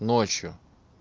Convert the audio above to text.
ночью